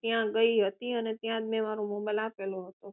ત્યાં ગઈ અને ત્યાં જ મેં મારો mobile આપેલો હતો